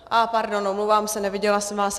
A pardon, omlouvám se, neviděla jsem vás.